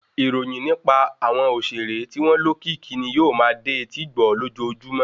Ìròyìn nipa àwọn òṣèré tí wọn lókìkì ni yóò ma dé etí igbọ́ lójojúmọ́